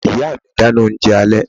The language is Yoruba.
Màmá mi dáná oúnjẹ alẹ́